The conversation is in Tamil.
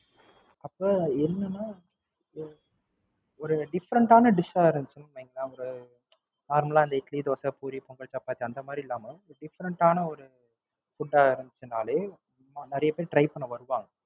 அப்ப என்னன்னா Different ஆன Dish இருந்துச்ச்சுன்னா இல்லாம Normal ஆ இட்லி, பூரி, பொங்கல், சப்பாத்தின்னு இல்லாம ஒரு Different ஆன ஒரு Food ஆ இருந்துச்சுன்னாலே நிறைய பேர் try பண்ண வருவாங்க